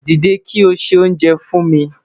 Dide ki o se onjè fun mi